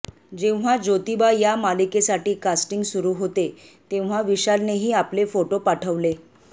जेव्हा जोतिबा या मालिकेसाठी कास्टिंग सुरू होते तेव्हा विशालनेही आपले फोटो पाठवले